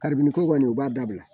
Karibini ko kɔni u b'a dabila